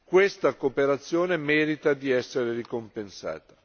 Questa cooperazione merita di essere ricompensata.